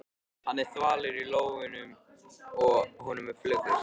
Hann er þvalur í lófunum og honum er flökurt.